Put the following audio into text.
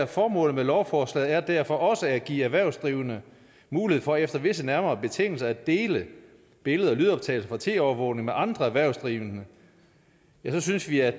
formålet med lovforslaget er derfor også at give erhvervsdrivende mulighed for efter visse nærmere betingelser at dele billeder og lydoptagelser fra tv overvågning med andre erhvervsdrivende ja så synes vi at